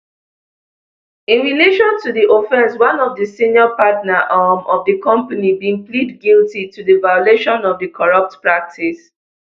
in relation to di offence one of di senior partner um of di company bin plead guilty to di violation of di corrupt practice